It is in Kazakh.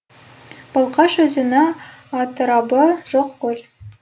балқаш өзені атырабы жоқ көл